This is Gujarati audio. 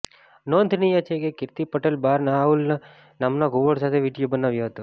નોંધનીય છે કે કિર્તી પટેલે બાર્ન આઉલ નામના ઘુવડ સાથે વીડિયો બનાવ્યો હતો